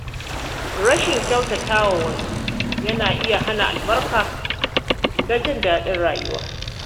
Rashin kyautata wa wasu yana iya hana albarka da jin daɗin rayuwa.